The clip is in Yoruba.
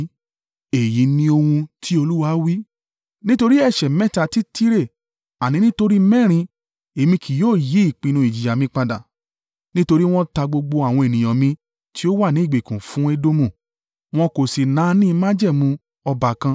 Èyí ni ohun tí Olúwa wí: “Nítorí ẹ̀ṣẹ̀ mẹ́ta ti Tire àní nítorí mẹ́rin, Èmi kì yóò yí ìpinnu ìjìyà mi padà. Nítorí wọ́n ta gbogbo àwọn ènìyàn tí ó wà ní ìgbèkùn fún Edomu. Wọn kò sì náání májẹ̀mú ọbàkan,